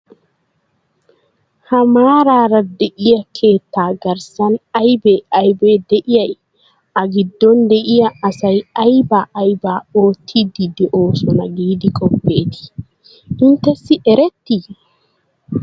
Ha maaraara de'iya keettaa garssan aybee aybee de'iyay? A giddon de'iya asay aibaa aybaa oottiiddi de'oosona giidi qoppeetii? Inttessi ereetii?